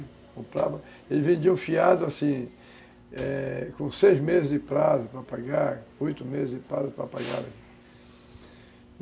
Ele vendiam um fiado, assim, com seis meses de prazo para pagar, oito meses de prazo para pagar.